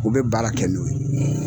U bɛ baara kɛ n'o ye.